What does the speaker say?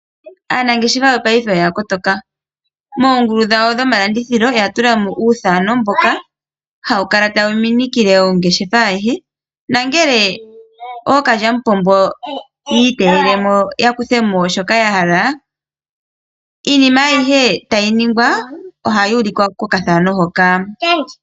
Aanangeshefa yo ngaashingeyi oya kotoka moongulu dhawo dhomalandithilo oya tulamo uuthano mboka hawu kala tawu minikile mongeshefa ayihe nangele ookalyamupombo yiiteyelemo ya kuthemo shoka ya hala iinima ayihe tayi ningwa ohayi ulikwa kokathano hoka.